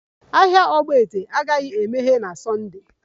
Ahịa ogbete agaghị emeghe na Sunda